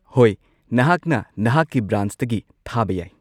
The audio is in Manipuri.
ꯍꯣꯏ, ꯅꯍꯥꯛꯅ ꯅꯍꯥꯛꯀꯤ ꯕ꯭ꯔꯥꯟꯆꯇꯒꯤ ꯊꯥꯕ ꯌꯥꯏ꯫